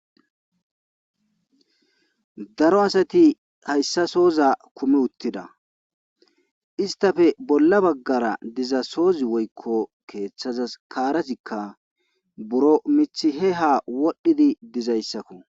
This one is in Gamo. daro asati hayssasoza kume uttida istafe bolla baggara dizasoozi woykko keeththazas kaarazikka buro mithi he ha wodhdhidi dizayssakko